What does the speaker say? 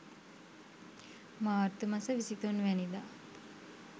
මාර්තු මස 23 වැනිදා